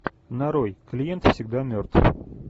нарой клиент всегда мертв